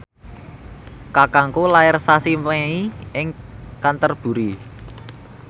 kakangku lair sasi Mei ing Canterbury